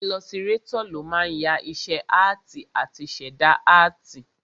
Ilọsirátọ̀ ló máa ń ya iṣẹ́ áàtì àti ṣẹ̀dá áàtì